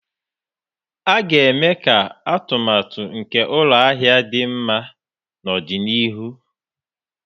A ga-eme ka atụmatụ nke ụlọ ahịa dị mma n'ọdịnihu.